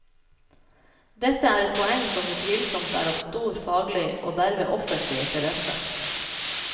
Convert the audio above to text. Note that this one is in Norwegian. Dette er et poeng som utvilsomt er av stor faglig, og derved offentlig, interesse.